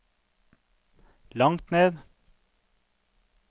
langt ned